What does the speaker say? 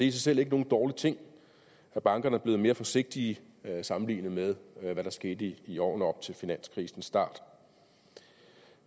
i selv ikke nogen dårlig ting at bankerne er blevet mere forsigtige sammenlignet med hvad der skete i årene op til finanskrisens start